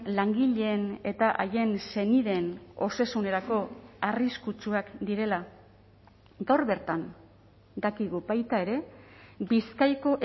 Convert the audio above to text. langileen eta haien senideen osasunerako arriskutsuak direla gaur bertan dakigu baita ere bizkaiko